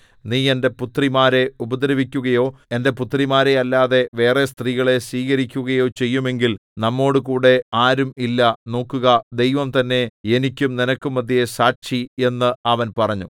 നീ എന്റെ പുത്രിമാരെ ഉപദ്രവിക്കുകയോ എന്റെ പുത്രിമാരെയല്ലാതെ വേറെ സ്ത്രീകളെ സ്വീകരിക്കുകയോ ചെയ്യുമെങ്കിൽ നമ്മോടുകൂടെ ആരും ഇല്ല നോക്കുക ദൈവം തന്നെ എനിക്കും നിനക്കും മദ്ധ്യേ സാക്ഷി എന്ന് അവൻ പറഞ്ഞു